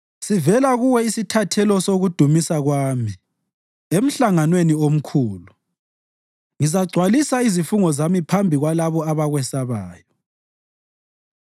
Sivela kuwe isithathelo sokudumisa kwami emhlanganweni omkhulu; ngizagcwalisa izifungo zami phambi kwalabo abakwesabayo.